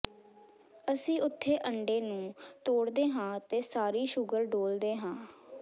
ਅਸੀਂ ਉੱਥੇ ਅੰਡੇ ਨੂੰ ਤੋੜਦੇ ਹਾਂ ਅਤੇ ਸਾਰੀ ਸ਼ੂਗਰ ਡੋਲ੍ਹਦੇ ਹਾਂ